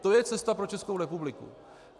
To je cesta pro Českou republiku.